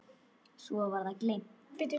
Svo var það gleymt.